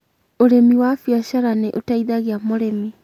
ũrĩmi wa biacara nĩũteithagia mũrĩmi